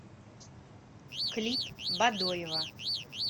клип бадоева